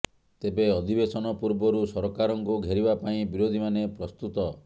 ତେବେ ଅଧିବେଶନ ପୂର୍ବରୁ ସରକାରଙ୍କୁ ଘେରିବା ପାଇଁ ବିରୋଧୀମାନେ ପ୍ରସ୍ତୁତ